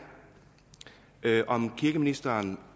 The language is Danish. om kirkeministeren